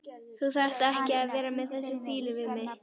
Þú þarft ekki að vera með þessa fýlu við mig.